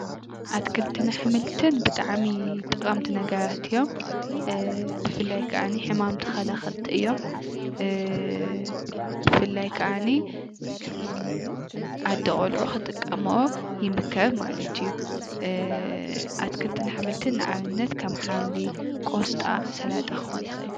ኣትክልትን አሕምልትን ብጣዕሚ ጠቀምቲ ነገራት እዮም ። ብፍላይ ከዓ ሕማም ተከላኸልቲ እዮም ።ብፋላይ ከዓኒ እም ኣዶ ቆልዑ ክጥቀምኦ ይምከር ማለት እዪ ። አ አትክልትን አሕምልትን ንኣብነት ከም ሓምሊ፣ ቆስጣ፣ ሰላጣ ክኾን ይኽእል እዪ።